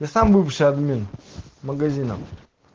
я сам бывший админ магазина